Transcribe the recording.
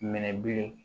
Minɛ bilen